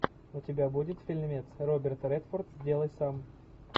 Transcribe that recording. у тебя будет фильмец роберт редфорд сделай сам